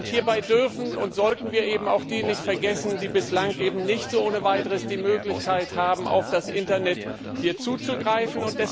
Hierbei dürfen und sollten wir auch diejenigen nicht vergessen, die bislang nicht ohne weiteres die Möglichkeit haben, auf das Internet zuzugreifen.